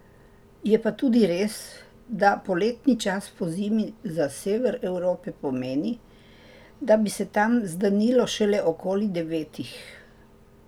Je pa tudi res, da poletni čas pozimi za sever Evrope pomeni, da bi se tam zdanilo šele okoli devetih.